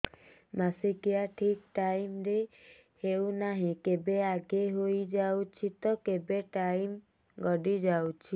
ମାସିକିଆ ଠିକ ଟାଇମ ରେ ହେଉନାହଁ କେବେ ଆଗେ ହେଇଯାଉଛି ତ କେବେ ଟାଇମ ଗଡି ଯାଉଛି